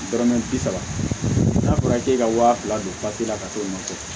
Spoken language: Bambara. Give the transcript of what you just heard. Dɔrɔmɛ bi saba n'a fɔra k'e ka waa fila don papiye la ka t'o nɔfɛ